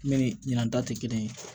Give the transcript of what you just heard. Ne ni ɲinan ta tɛ kelen ye